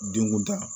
Dengun da